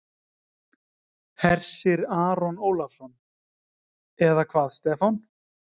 Hersir Aron Ólafsson: Eða hvað Stefán?